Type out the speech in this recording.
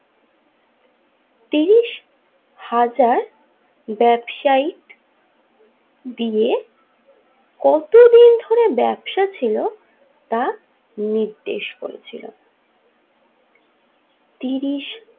উনিশ হাজার ব্যাবসায়িক দিয়ে কতদিন দিয়ে ব্যবসা ছিল তা নির্দেশ করেছিলেন তিরিশ।